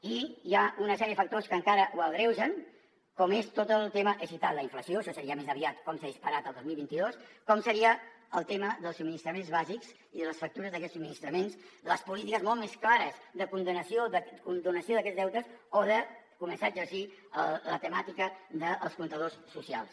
i hi ha una sèrie de factors que encara ho agreugen com és tot el tema he citat la inflació això seria més aviat com s’ha disparat el dos mil vint dos com seria el tema dels subministraments bàsics i de les factures d’aquests subministraments les polítiques molt més clares de condonació d’aquests deutes o de començar a exercir la temàtica dels comptadors socials